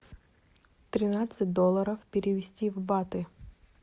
тринадцать долларов перевести в баты